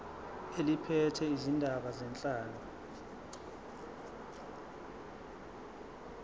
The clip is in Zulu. eliphethe izindaba zenhlalo